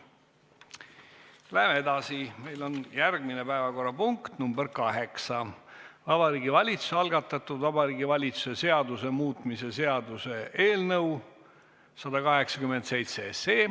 Läheme edasi, meil on järgmine päevakorrapunkt, nr 8: Vabariigi Valitsuse algatatud Vabariigi Valitsuse seaduse muutmise seaduse eelnõu 187.